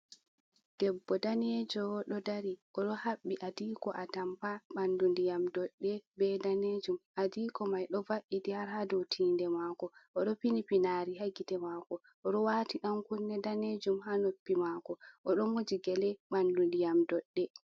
Debbo danejo do dari o do habbi adiko a tampa bandu ndiyam doɗɗe be danejum adiko mai ɗo va’itti har ha dotinde mako oɗo fini pinari hagite mako odowati yankunne danejum ha noppi mako oɗo moji gele ɓandu ndiyam doɗɗe.